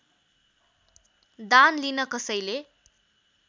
दान लिन कसैले